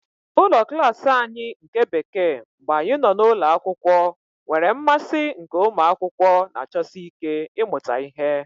Ụlọ klas anyị nke Bekee mgbe anyị nọ n'ụlọ akwụkwọ nwere mmasị nke ụmụ akwụkwọ na-achọsi ike ịmụta ihe.